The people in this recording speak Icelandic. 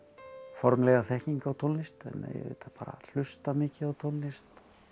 formlega þekkingu á tónlist ég auðvitað hlusta mikið á tónlist